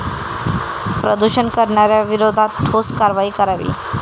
प्रदूषण करणाऱ्यांविरोधात ठोस कारवाई करावी.